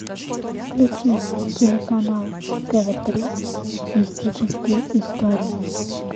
включи телеканал тв три мистические истории